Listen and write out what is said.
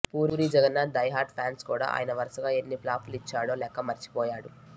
puri Jagannadh diehard fans కూడా ఆయన వరుసగా ఎన్ని ఫ్లాపులు ఇచ్చాడో లెక్క మరిచిపోయారు